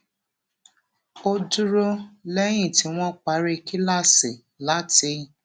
ó dúró léyìn tí wón parí kíláàsì láti